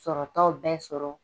Sɔrɔtaw bɛ sɔrɔ